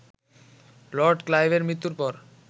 Lord ক্লাইভের মৃত্যুর পর